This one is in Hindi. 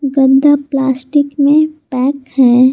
गद्दा प्लास्टिक में पैक है।